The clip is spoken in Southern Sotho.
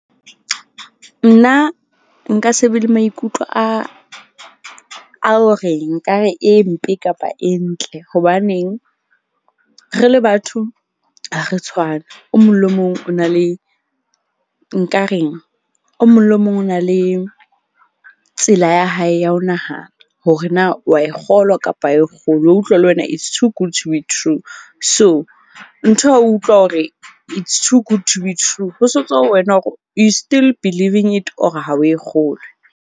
Nna nka se be le maikutlo a hore nkare e mpe kapa e ntle. Hobaneng re le batho ha re tshwane. O mong le mong o na le nka reng? O mong le mong o na le tsela ya hae ya ho nahana hore na wa e kgolwa kapa ha o e kgolwe. Wa utlwa le wena, It's too good to be true. So, nthwe wa utlwa hore it's too good to be true. Ho se ho tswa ho wena hore you still believing it or ha o e kgolwe.